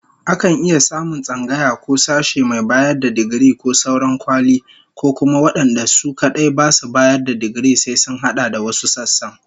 Akan iya samun tsangaya ko sashe mai bayar da digiri ko sauran kwali, ko kuma wadanda su kadai basu bayar da digiri sai sun hada da wasu sassan